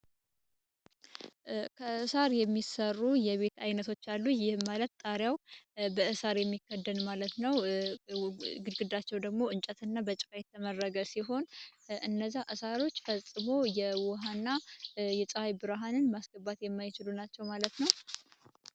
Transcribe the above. ከእሳር የሚሰሩ የቤት ዓይነቶች አሉ፤ ይህ ማለት ጣሪያው በእሳር የሚከደን ማለት ነው። ግድግዳቸው ደግሞ እንጨት እና በጭቃ የተመረገ ሲሆን፤ እነዚህ ሳሮች ፈጽሞ የውሃና የፀሃይ ብርሃንን ማስገባት የማይችሉ ናቸው ማለት ነው።